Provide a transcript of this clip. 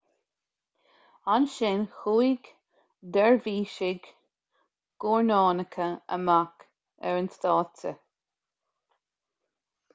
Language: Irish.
ansin chuaigh deirbhísigh guairneánacha amach ar an stáitse